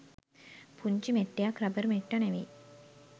පුංචි මෙට්ටයක් රබර් මෙට්ට නෙවෙයි